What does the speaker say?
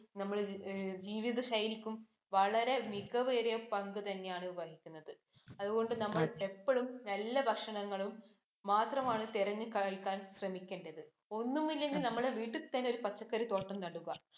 നമ്മുടെ ജീവിത ശൈലിക്കും, വളരെ മികവേറിയ പങ്ക് തന്നെയാണ് വഹിക്കുന്നത്. അതുകൊണ്ട് നമ്മൾ എപ്പഴും നല്ല ഭക്ഷണങ്ങളും മാത്രമാണ് തിരഞ്ഞു കഴിക്കാൻ ശ്രമിക്കേണ്ടത്. ഒന്നുമില്ലെങ്കിൽ നമ്മൾ വീട്ടിൽ തന്നെ ഒരു പച്ചക്കറിത്തോട്ടം നടുക.